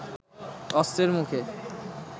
অস্ত্রের মুখে